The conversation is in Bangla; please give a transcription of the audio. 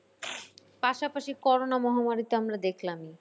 পাশাপাশি করোনা মহামারী তো আমরা দেখলামই।